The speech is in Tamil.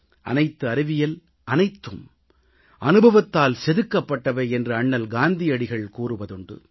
அனைத்து அறிவியல் சாதனைகள் அனைத்தும் அனுபவத்தால் செதுக்கப்பட்டவை என்று அண்ணல் காந்தியடிகள் கூறுவதுண்டு